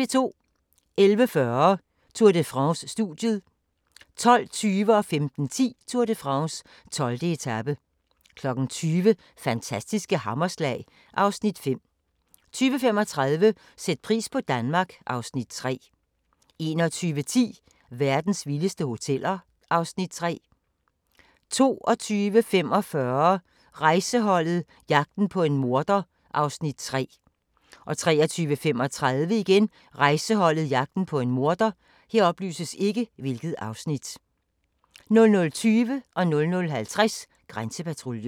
11:40: Tour de France: Studiet 12:20: Tour de France: 12. etape 15:10: Tour de France: 12. etape 20:00: Fantastiske hammerslag (Afs. 5) 20:35: Sæt pris på Danmark (Afs. 3) 21:10: Verdens vildeste hoteller (Afs. 3) 22:45: Rejseholdet - jagten på en morder (Afs. 3) 23:35: Rejseholdet - jagten på en morder 00:20: Grænsepatruljen 00:50: Grænsepatruljen